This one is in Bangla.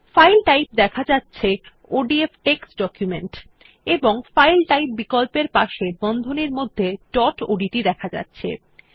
ফাইল টাইপ দেখা যাচ্ছে ওডিএফ টেক্সট ডকুমেন্ট এবং ফাইল টাইপ বিকল্পের পাশে বন্ধনীর মধ্যে ডট ওডিটি দেখা যাচ্ছে